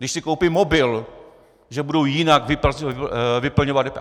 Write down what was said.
Když si koupí mobil, že budou jinak vyplňovat DPH?